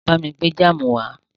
Bá mi gbé jáámù wá.